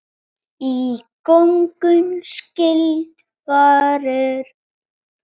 Í gönguna skyldi farið.